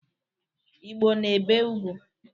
Igbo na-ebe ugwu.